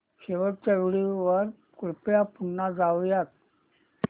शेवटच्या व्हिडिओ वर कृपया पुन्हा जाऊयात